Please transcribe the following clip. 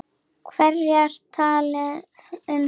Hverjir tala um það?